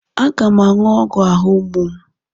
Aga m aṅụ ogwu ahụ mgbu m.